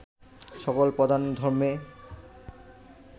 সকল প্রধান ধর্মে